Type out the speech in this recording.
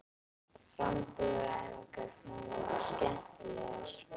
Framburðaræfingarnar eru skemmtilegar.